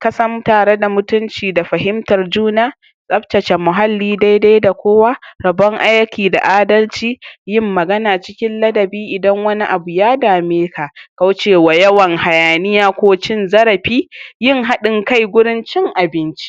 ka sam tare da mutumci da fahimtar juna, tsaftace muhalli dai-dai da kowa, rabon aiki da adalci, yin magana cikin ladabi idan wani abu a dameka, kaucewa yawan hayaniya ko cin zarafi, yin haɗin kai gurin cin abinci,